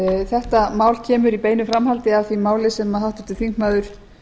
þetta mál kemur í beinu framhaldi af því máli sem háttvirtur þingmaður